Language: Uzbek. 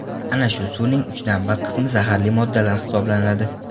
Ana shu suvning uchdan bir qismi zaharli moddalar hisoblanadi.